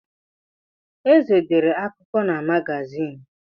Eze dere akụkọ na magazin.